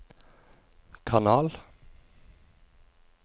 kanal